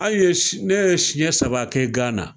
Aw ye ne ye siɲɛ saba kɛ Gana